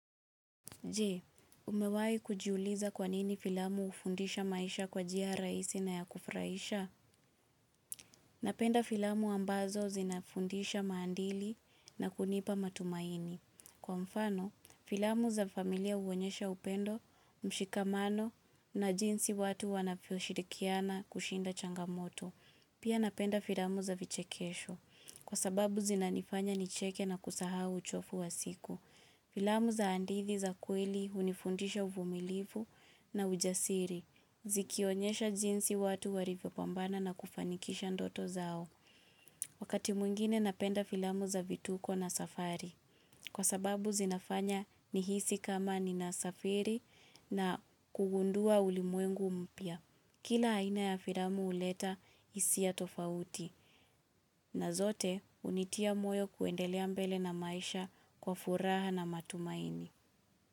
Je, umewai kujiuliza kwa nini filamu hufundisha maisha kwa njia rahisi na ya kufurahisha? Napenda filamu ambazo zinafundisha maandili na kunipa matumaini. Kwa mfano, filamu za familia huonyesha upendo, mshikamano na jinsi watu wanavyo shirikiana kushinda changamoto. Pia napenda filamu za vichekesho. Kwa sababu zinanifanya nicheke na kusahau uchofu wa siku. Filamu za hadithi za kweli hunifundisha uvumilivu na ujasiri. Zikionyesha jinsi watu walivyo pambana na kufanikisha ndoto zao. Wakati mwingine napenda filamu za vituko na safari. Kwa sababu zinafanya nihisi kama ninasafiri na kugundua ulimwengu mpya. Kila aina ya filamu huleta hisia tofauti. Na zote hunitia moyo kuendelea mbele na maisha kwa furaha na matumaini.